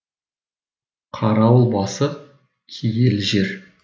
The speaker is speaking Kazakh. қарауыл басы киелі жер